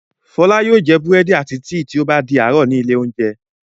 Fọlá yóò jẹ búrẹ́dì àti tíì tí ó bá di àárọ̀ ní ilé-oúnjẹ.